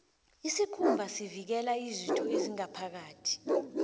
isikhumba sivikela izitho ezingaphakathi